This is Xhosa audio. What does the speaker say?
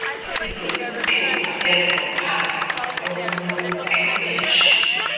zokucupha ezophando olunobuchwepheshe